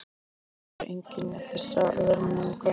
Og þá sér enginn þessa hörmung.